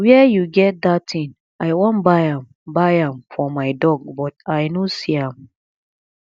where you get dat thing i wan buy am buy am for my dog but i no see am